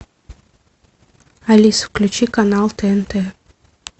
алиса включи канал тнт